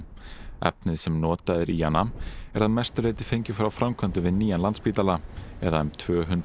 efnið sem notað er í hana er að mestu leyti fengið frá framkvæmdum við nýjan Landspítala eða um tvö hundruð